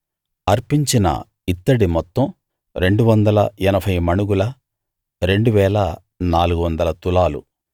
అర్పించిన ఇత్తడి మొత్తం 280 మణుగుల 2 400 తులాలు